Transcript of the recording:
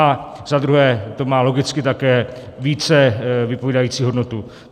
A za druhé to má logicky také více vypovídající hodnotu.